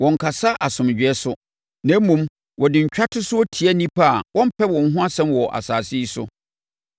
Wɔnnkasa asomdwoeɛ so, na mmom, wɔde ntwatosoɔ tia nnipa a wɔmpɛ wɔn ho asɛm wɔ asase yi so.